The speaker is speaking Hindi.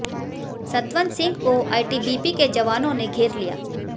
सतवंत सिंह को आईटीबीपी के जवानों ने घेर लिया